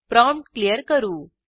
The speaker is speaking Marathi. प्रॉम्प्ट क्लियर करू